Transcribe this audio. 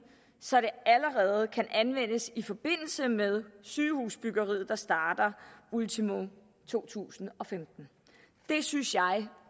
så det allerede kan anvendes i forbindelse med sygehusbyggeriet der starter ultimo to tusind og femten det synes jeg